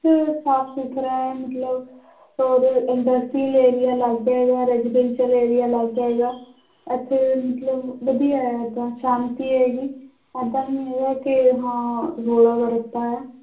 ਸਾਫ਼ ਸੁਥਰਾ ਹੈ ਮਤਲਬ ਔਰ industrial area ਅਲੱਗ ਹੈਗਾ residential area ਅਲੱਗ ਹੈਗਾ ਇੱਥੇ ਮਤਲਬ ਵਧੀਆ ਹੈ ਏਦਾਂ ਸ਼ਾਂਤੀ ਹੈਗੀ ਏਦਾਂ ਨੀ ਹੈਗਾ ਕਿ ਹਾਂ ਰੌਲਾ ਜਾਂ ਰੱਪਾ ਹੈ